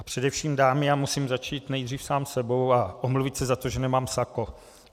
A především dámy - já musím začít nejdřív sám sebou a omluvit se za to, že nemám sako.